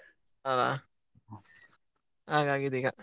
ಅಲ ಹಾಗಾಗಿದೆ ಈಗ.